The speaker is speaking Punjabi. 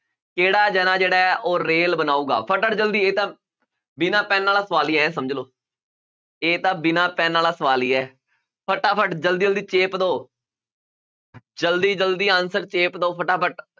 ਕਿਹੜਾ ਜਾਣਾ ਜਿਹੜਾ ਹੈ ਉਹ ਰੇਲ ਬਣਾਊਗਾ ਜ਼ਲਦੀ ਇਹ ਤਾਂ ਬਿਨਾਂ ਪੈਨ ਵਾਲਾ ਸਵਾਲ ਹੀ ਇਹ ਸਮਝ ਲਓ, ਇਹ ਤਾਂ ਬਿਨਾਂ ਪੈਨ ਵਾਲਾ ਸਵਾਲ ਹੀ ਹੈ, ਫਟਾਫਟ ਜ਼ਲਦੀ ਜ਼ਲਦੀ ਚੇਪ ਦਓ ਜ਼ਲਦੀ ਜ਼ਲਦੀ answer ਚੇਪ ਦਓ ਫਟਾਫਟ